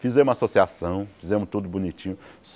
Fizemos associação, fizemos tudo bonitinho.